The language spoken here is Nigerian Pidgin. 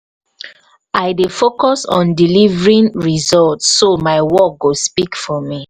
i dey focus on delivering results so my work go speak for me.